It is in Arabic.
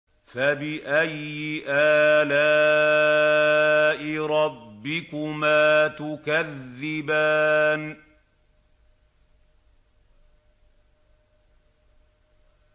فَبِأَيِّ آلَاءِ رَبِّكُمَا تُكَذِّبَانِ